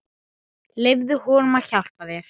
Jæja vina mín.